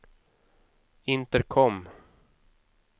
intercom